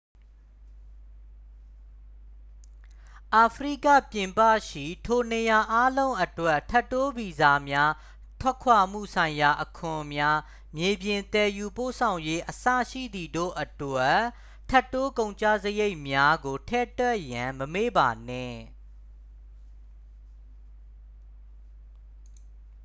အာဖရိကပြင်ပရှိ ထိုနေရာအားလုံးအတွက် ထပ်တိုးဗီဇာများ ထွက်ခွာမှုဆိုင်ရာအခွန်များ မြေပြင် သယ်ယူပို့ဆောင်ရေး အစရှိသည်တို့အတွက် ထပ်တိုး ကုန်ကျစရိတ်များကို ထည့်တွက်ရန် မမေ့ပါနှင့်